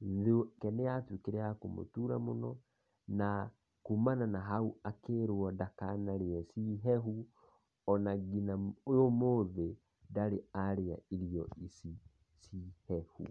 ,nda yake nĩ ya tũikĩre ya kũmũtũra mũno na kũmana na haũ akĩrwo ndakanarĩe ciĩ hehu ona nginya ũmũthe ndarĩ arĩa ĩrĩo ici cihehu.